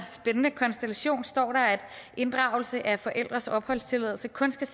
spændende konstellation står der at inddragelse af forældres opholdstilladelse kun skal